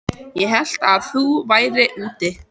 Ég hélt að þú værir úti.